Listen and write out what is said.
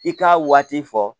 I k'a waati fɔ